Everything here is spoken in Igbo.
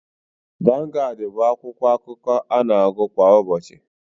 Vangaad bụ akwụkwọakụkọ ana-agụ kwa ụbọchị.